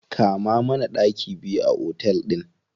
Kama mana ɗaki biyu a otel ɗin.